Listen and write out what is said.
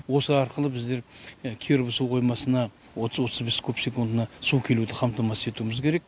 осы арқылы біздер киров су қоймасына отыз отыз бес куб секундына су келуді қамтамасыз етуіміз керек